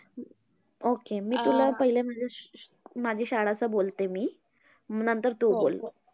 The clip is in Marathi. Okay. मी तुला पहिले माझी स्क माझी शाळाचं बोलते मी. नंतर तू बोल.